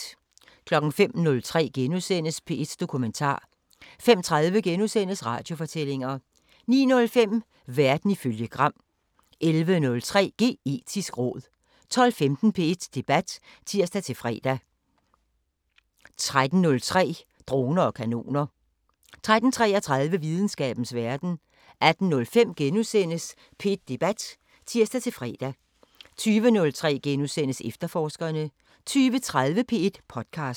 05:03: P1 Dokumentar * 05:30: Radiofortællinger * 09:05: Verden ifølge Gram 11:03: Geetisk råd 12:15: P1 Debat (tir-fre) 13:03: Droner og kanoner 13:33: Videnskabens Verden 18:05: P1 Debat *(tir-fre) 20:03: Efterforskerne * 20:30: P1 podcaster